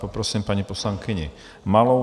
Poprosím paní poslankyni Malou.